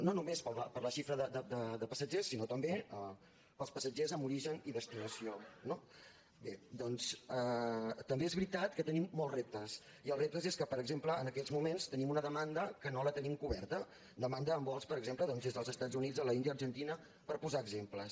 no només per la xifra de passatgers sinó també pels passatgers amb origen i destinació no bé doncs també és veritat que tenim molts reptes i els reptes és que per exemple en aquests moments tenim una demanda que no la tenim coberta demanda en vols per exemple doncs des dels estats units l’índia argentina per posar exemples